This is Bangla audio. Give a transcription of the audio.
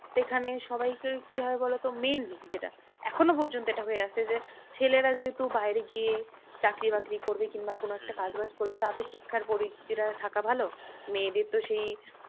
এখানে সবাইকেই কি হয় বলতো? mainly যেটা এখনো পর্যন্ত যেটা হয়ে আসছে যে ছেলেরা যেহেতু বাইরে গিয়ে চাকরি বাকরি করবে কিংবা কোনো একটা কাজ বাজ করবে তাদের শিক্ষার থাকা ভালো। মেয়েদের তো সেই